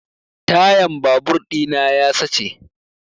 Tayan babur ɗina ya sace